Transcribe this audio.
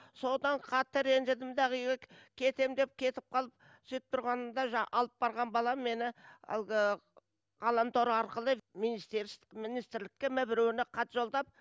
содан қатты ренжідім дағы үйге кетем деп кетіп қалып сөйтіп тұрғанымда жаңа алып барған балам мені әлгі ғаламтор арқылы министрлікке ме біреуіне хат жолдап